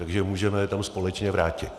Takže můžeme je tam společně vrátit.